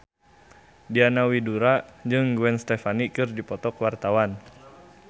Diana Widoera jeung Gwen Stefani keur dipoto ku wartawan